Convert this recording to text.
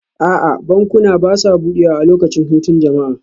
A'a, bankuna ba sa buɗewa a lokacin hutun jama'a